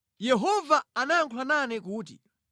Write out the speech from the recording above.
Yehova anayankhula nane kuti,